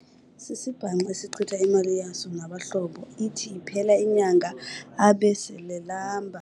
Sisibhanxa esichitha imali yaso nabahlobo ithi iphela inyanga abe selelamba.